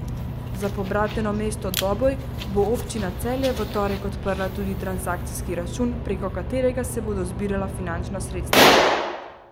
Za pobrateno mesto Doboj bo občina Celje v torek odprla tudi transakcijski račun, preko katerega se bodo zbirala finančna sredstva.